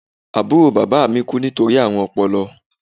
Àbúrò bàbá mi kú nítorí àrùn ọpọlọ